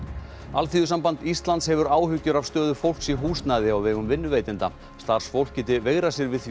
Alþýðusamband Íslands hefur áhyggjur af stöðu fólks í húsnæði á vegum vinnuveitenda starfsfólk geti veigrað sér við